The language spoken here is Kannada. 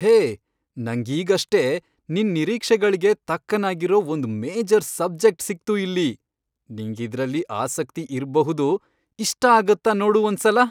ಹೇ, ನಂಗೀಗಷ್ಟೇ ನಿನ್ ನಿರೀಕ್ಷೆಗಳ್ಗೆ ತಕ್ಕನಾಗಿರೋ ಒಂದ್ ಮೇಜರ್ ಸಬ್ಜೆಕ್ಟ್ ಸಿಕ್ತು ಇಲ್ಲಿ! ನಿಂಗಿದ್ರಲ್ಲಿ ಆಸಕ್ತಿ ಇರ್ಬಹುದು, ಇಷ್ಟ ಆಗತ್ತಾ ನೋಡು ಒಂದ್ಸಲ!